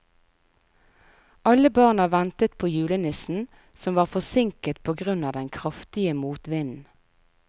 Alle barna ventet på julenissen, som var forsinket på grunn av den kraftige motvinden.